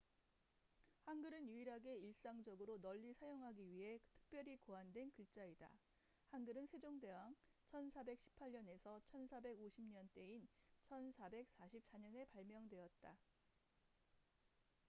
한글은 유일하게 일상적으로 널리 사용하기 위해 특별히 고안된 글자이다. 한글은 세종대왕1418~1450 때인 1444년에 발명되었다